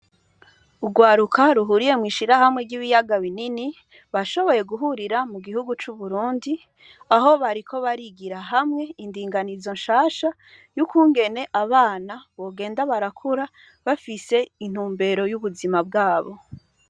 Urwaruka ruhuriye mwishirahamwe ry’ibiyaga binini, bashoboye guhurira mu gihugu c’Uburundi, aho bariko barigira hamwe indinganizo nshasha yukungene abana bogenda barakura bafise intumbero y’ubuzima bwabo.